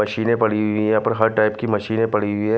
मशीनें पड़ी हुई है यहां पर हर टाइप की मशीनें पड़ी हुई है।